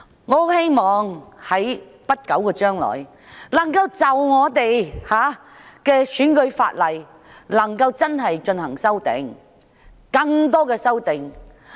我希望政府在不久將來可以就選舉法例提出更多修訂。